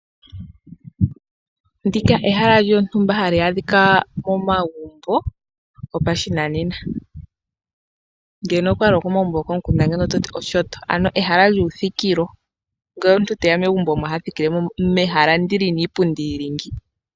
Ndika ehala lyontumba hali adhika momagumbo gopashinanena ngele okwali okomukunda ando ototi oshoto, ano ehala lyuuthikilo. Ngele omuntu teya megumbo omo hathikile mehala ndi lina iipundu yili ngawo.